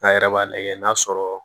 An yɛrɛ b'a lajɛ n'a sɔrɔ